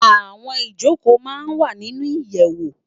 Awòn Ijókó má n wá ninú iyèwó